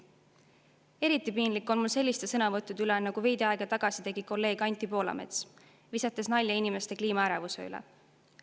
Eriti piinlik on mul selliste sõnavõttude pärast, nagu veidi aega tagasi oli kolleeg Anti Poolametsal, kes viskas nalja inimeste kliimaärevuse üle.